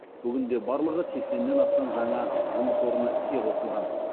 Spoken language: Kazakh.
бүгінде барлығы сексеннен астам жаңа жұмыс орны іске қосылған